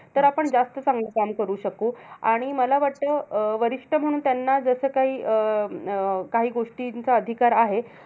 तर आपण जास्त चांगलं काम करू शकू. आणि मला वाटतं, अं वरिष्ठ म्हणून त्यांना जसं काही अं अं काही गोष्टींचा अधिकार आहे.